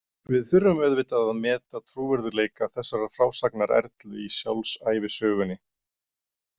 Við þurfum auðvitað að meta trúverðugleika þessarar frásagnar Erlu í sjálfsævisögunni.